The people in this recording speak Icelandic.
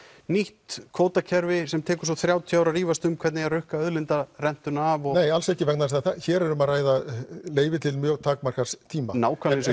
nýtt kvótakerfi sem tekur svo þrjátíu ár að rífast um hvernig eigi að rukka af og nei alls ekki vegna þess að hér er um að ræða leyfi til mjög takmarkaðs tíma nákvæmlega eins og